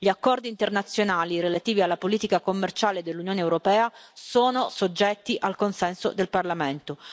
Gli accordi internazionali relativi alla politica commerciale dell'Unione europea sono soggetti al consenso del Parlamento.